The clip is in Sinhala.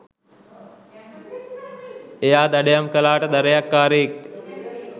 එයා දඩයම් කළාට දඩයක්කාරයෙක්